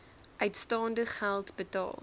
uitstaande geld betaal